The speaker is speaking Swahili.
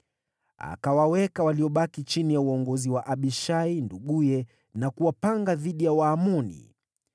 Akawaweka waliobaki chini ya uongozi wa Abishai nduguye na kuwapanga dhidi ya Waamoni.